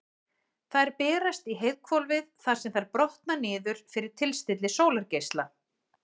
Þær berast í heiðhvolfið þar sem þær brotna niður fyrir tilstilli sólargeisla.